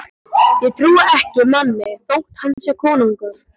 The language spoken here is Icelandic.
Ég trúi ekki manni þótt hann sé konungur.